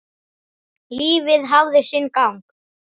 Lífið hafði sinn gang.